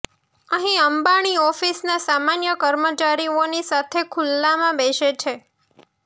અહીં અંબાણી ઓફિસના સામાન્ય કર્મચારીઓની સાથે ખુલ્લામાં બેસે છે